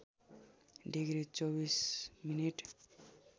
degree २४ minute